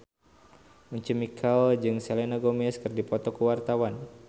Once Mekel jeung Selena Gomez keur dipoto ku wartawan